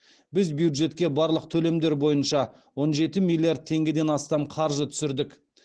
біз бюджетке барлық төлемдер бойынша он жеті миллиард теңгеден астам қаржы түсірдік